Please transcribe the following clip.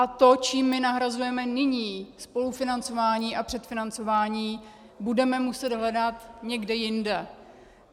A to, čím my nahrazujeme nyní spolufinancování a předfinancování, budeme muset hledat někde jinde.